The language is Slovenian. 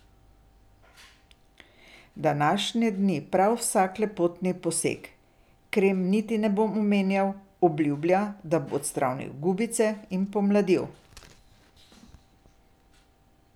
Današnje dni prav vsak lepotni poseg, krem niti ne bom omenjal, obljublja, da bo odstranil gubice in pomladil.